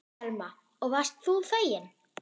Telma: Og varst þú feginn?